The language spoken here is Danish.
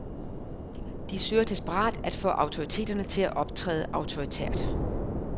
De søger desperat at få autoriteterne til at optræde autoritært.